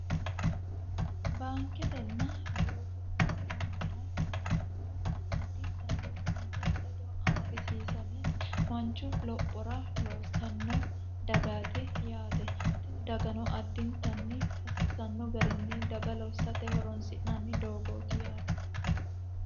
Baanketena guutu gutu maamara yinanihu addintanni baankete ledo amadisiisame manchu lophora loossanno dagaati yaate. Tini dagano addintanni hasiisanno garinni daga lossate horonsi'nanni doogoti yaate.